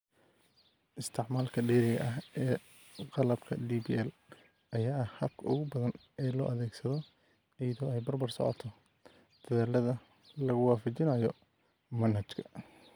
Isticmaalka dheeriga ah ee qalabka DPL ayaa ah habka ugu badan ee loo adeegsado, iyadoo ay barbar socoto dadaallada lagu waafajinayo manhajka.